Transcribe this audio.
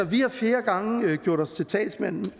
vi har flere gange gjort os til talsmand